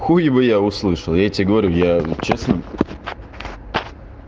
хуй бы я услышал я тебе говорю я честно